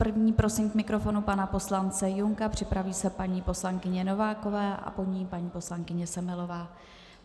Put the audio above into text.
První prosím k mikrofonu pana poslance Junka, připraví se paní poslankyně Nováková a po ní paní poslankyně Semelová.